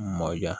Mɔ diya